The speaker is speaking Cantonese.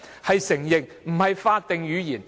就是承認，而非法定語言。